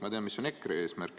Ma tean, mis on EKRE eesmärk.